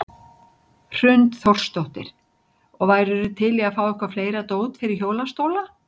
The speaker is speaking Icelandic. Hrund Þórsdóttir: Og værirðu til í að fá eitthvað fleira dót fyrir hjólastóla?